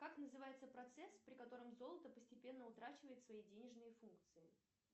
как называется процесс при котором золото постепенно утрачивает свои денежные функции